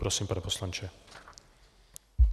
Prosím, pane poslanče.